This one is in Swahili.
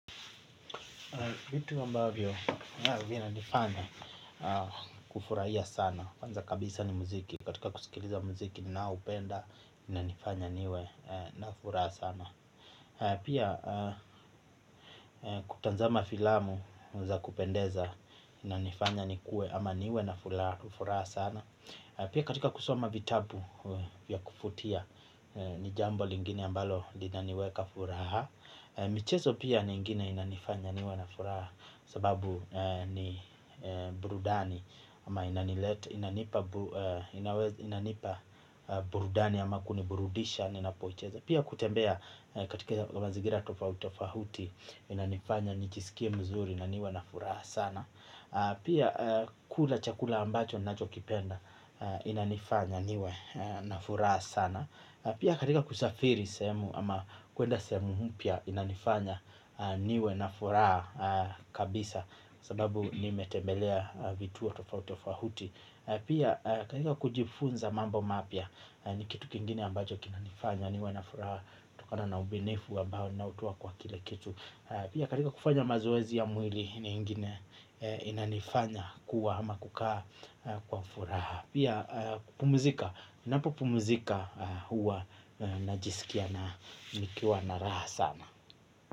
Vitu mbavyo, vina nifanya kufurahia sana. Kwanza kabisa ni muziki. Katika kusikiliza muziki na upenda, ina nifanya niwe na furaha sana. Pia, kutanzama filamu za kupendeza, ina nifanya ni kue ama niwe na furaha sana. Pia katika kusoma vitabu vya kufutia, ni jambo lingine ambalo lina niweka furaha. Michezo pia ni ingine inanifanya niwa na furaha sababu ni burudani ama inanipa burudani ama kuniburudisha ni napoicheza. Pia kutembea katika mazigira tofahuti inanifanya nichisikie mzuri inaniwa na furaha sana. Pia kula chakula ambacho nachokipenda inanifanya niwe na furaha sana. Pia katika kusafiri semu ama kuenda sehemu mupya inanifanya niwe na furaha kabisa sababu ni metembelea vitu wa tofauti tofahuti. Pia katika kujifunza mambo mapia ni kitu kingine ambajo kinanifanya niwe na furaha. Tokana na ubinefu ambao nautua kwa kile kitu. Pia katika kufanya mazoezi ya mwili ni ingine inanifanya kuwa ama kukaa kwa furaha. Pia kupumuzika napo pumuzika huwa najisikia na nikiwa na raha sana.